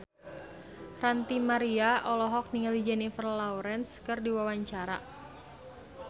Ranty Maria olohok ningali Jennifer Lawrence keur diwawancara